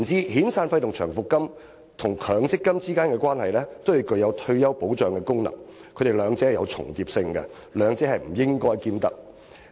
遣散費和長期服務金，與強積金均具有退休保障的功能，兩者有所重疊的，不應兼得。